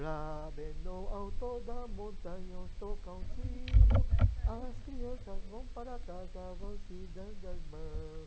Lá bem no alto da montanha, onde toca o sino, as crianças vão para casa, vão se dando as mãos.